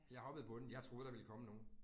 Jeg hoppede på den, jeg troede der ville komme nogen